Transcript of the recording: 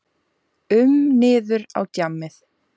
Var hann ekki farinn að sofa grunsamlega fram eftir á sunnudögum?